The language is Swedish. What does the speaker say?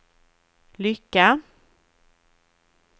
lycka